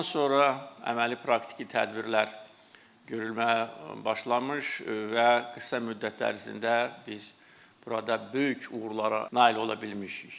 Ondan sonra əməli praktiki tədbirlər görülməyə başlamış və qısa müddət ərzində biz burada böyük uğurlara nail ola bilmişik.